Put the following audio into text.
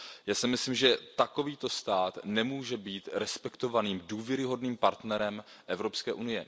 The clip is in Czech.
Já si myslím, že takovýto stát nemůže být respektovaným, důvěryhodným partnerem EU.